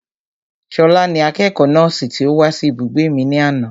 Ṣọlá ni akẹ́kọ̀ọ́ nọ́ọ̀sì tí ó wá sí ibùgbé mi ní àná